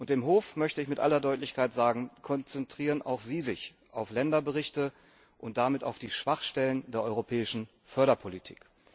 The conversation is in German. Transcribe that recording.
Dem Hof möchte ich mit aller Deutlichkeit sagen Konzentrieren auch Sie sich auf Länderberichte und damit auf die Schwachstellen in der europäischen Förderpolitik!